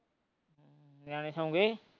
ਨਿਆਣੇ ਸੋ ਗਏ